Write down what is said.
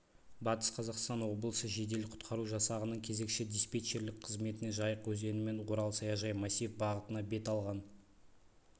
батыс қазақстан облысы жедел-құтқару жасағының кезекші-диспетчерлік қызметіне жайық өзенімен орал-саяжай массив бағытына бет алған